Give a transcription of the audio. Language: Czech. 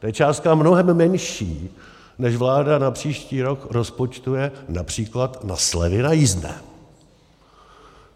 To je částka mnohem menší, než vláda na příští rok rozpočtuje například na slevy na jízdné.